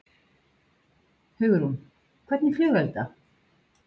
Hugrún: Hvernig flugelda?